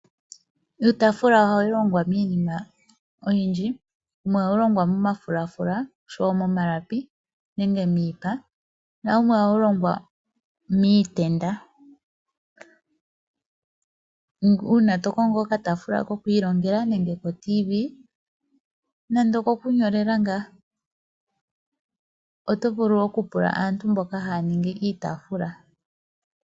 Iitafula ohayi longwa miinima oyindji, yimwe ohayi longwa momafulafula nosho wo momalapi nege miipa na yimwe ohayi longwa miitenda. Uuna to kongo oka tafula kokwiilongela nenge ko Tv nenge kokunyolela ngah oto vulu oku pula aantu mboka haya ningi iitafula.